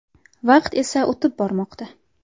Vaqt esa o‘tib bormoqda.